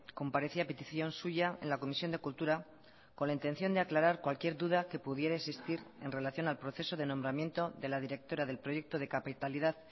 comparecí a petición suya en la comisión de cultura con la intención de aclarar cualquier duda que pudiera existir en relación al proceso de nombramiento de la directora del proyecto de capitalidad